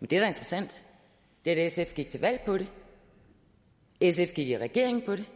men det der er interessant er at sf gik til valg på det sf gik i regering på det